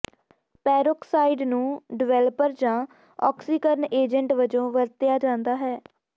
peroxide ਨੂੰ developer ਜਾਂ ਆਕਸੀਕਰਨ ਏਜੰਟ ਵਜੋਂ ਵਰਤਿਆ ਜਾਂਦਾ ਹੈ